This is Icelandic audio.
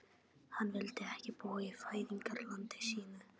Hann vildi ekki búa í fæðingarlandi sínu.